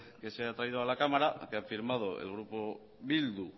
que se ha traído a la cámara que ha firmado el grupo bildu